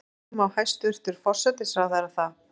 Af hverju má hæstvirtur forsætisráðherra það?